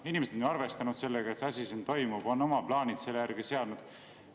Inimesed on ju arvestanud sellega, et see asi siin toimub, nad on oma plaanid selle järgi seadnud.